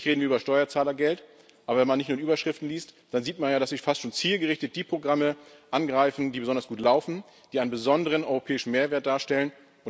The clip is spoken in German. Natürlich reden wir über Steuerzahlergeld, aber wenn man manche Überschriften liest, dann sieht man ja, dass Sie fast schon zielgerichtet die Programme angreifen, die besonders gut laufen, die einen besonderen europäischen Mehrwert darstellen.